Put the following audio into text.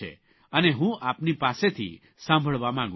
અને હું આપની પાસેથી સાંભળવા માંગું છું